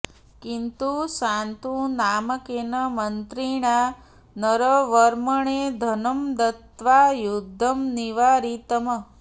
किन्तु शान्तु नामकेन मन्त्रिणा नरवर्मणे धनं दत्त्वा युद्धं निवारितम्